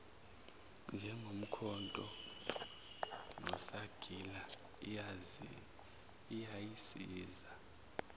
njengomkhonto nesagila iyayisiza